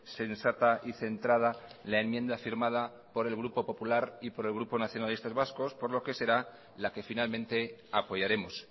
sensata y centrada la enmienda firmada por el grupo popular y por el grupo nacionalistas vascos por lo que será la que finalmente apoyaremos